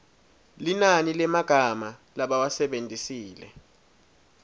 linani lemagama labawasebentisile